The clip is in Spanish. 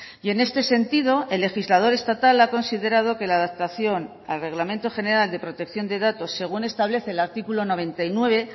y en este sentido el legislador estatal ha considerado que la adaptación al reglamento general de protección de datos según establece el artículo noventa y nueve